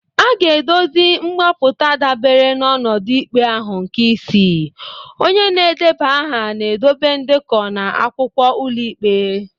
A ga-edozi mgbapụta dabere n’ọnọdụ ikpe ahụ nke ise. Onye na-edeba aha na-edobe ndekọ na akwụkwọ ụlọikpe.